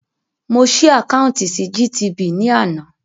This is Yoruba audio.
Mo ṣí àkáùntì sí GTB ní àná